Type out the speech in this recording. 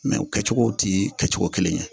o kɛcogow ti kɛcogo kelen ye